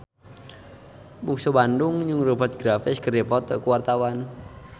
Bungsu Bandung jeung Rupert Graves keur dipoto ku wartawan